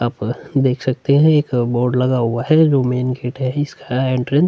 आप देख सकते है एक बोर्ड लगा हुआ है। जो मैन गेट है इसका एंट्रेंस --